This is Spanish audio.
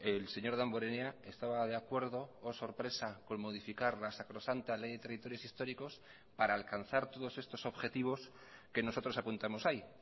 el señor damborenea estaba de acuerdo oh sorpresa con modificar la sacrosanta ley de territorios históricos para alcanzar todos estos objetivos que nosotros apuntamos ahí